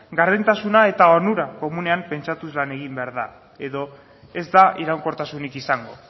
gardentasuna eta onura komunean pentsatuz lan egin behar da edo ez da iraunkortasunik izango